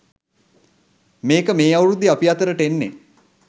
මේක මේ අවුරුද්දේ අපි අතරට එන්නේ